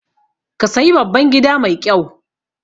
Ka sayi babban gida mai ƙyau